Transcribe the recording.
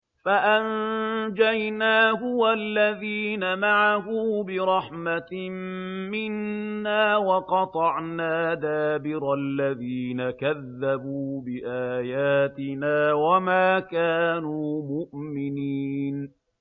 فَأَنجَيْنَاهُ وَالَّذِينَ مَعَهُ بِرَحْمَةٍ مِّنَّا وَقَطَعْنَا دَابِرَ الَّذِينَ كَذَّبُوا بِآيَاتِنَا ۖ وَمَا كَانُوا مُؤْمِنِينَ